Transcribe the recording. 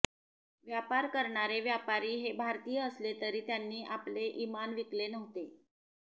व्यापार करणारे व्यापारी हे भारतीय असले तरी त्यांनी आपले इमान विकले नव्हते